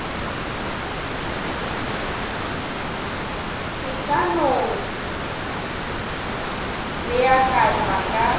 e ka no beakanywa ka